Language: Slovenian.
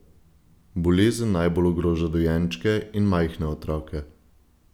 Bolezen najbolj ogroža dojenčke in majhne otroke.